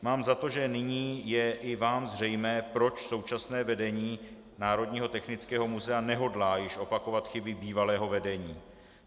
Mám za to, že nyní je i vám zřejmé, proč současné vedení Národního technického muzea nehodlá již opakovat chyby bývalého vedení.